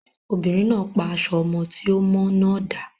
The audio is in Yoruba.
Obìnrin náà pa aṣọ ọmọ tí ò mọ́ náà dà.